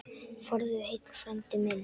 Farðu heill, frændi minn.